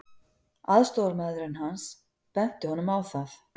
Aðstoðarmaðurinn hans benti honum á það.